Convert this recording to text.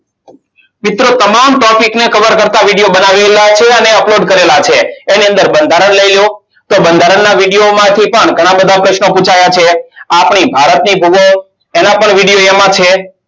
મિત્રો તમામ topic ને cover કરતા video બનાવેલા છે. અને upload કરેલા છે. એની અંદર બંધારણ લઈ લો. તો બંધારણના video માંથી પણ ઘણા બધા પ્રશ્નો પુછાયા છે. આપણી ભારતની ભૂગોળ એના પર video એમાં છે.